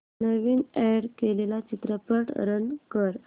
नवीन add केलेला चित्रपट run कर